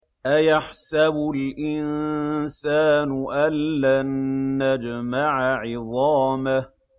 أَيَحْسَبُ الْإِنسَانُ أَلَّن نَّجْمَعَ عِظَامَهُ